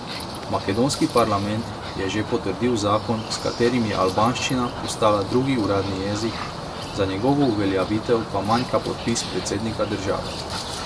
Makedonski parlament je že potrdil zakon, s katerim je albanščina postala drugi uradni jezik, za njegovo uveljavitev pa manjka podpis predsednika države.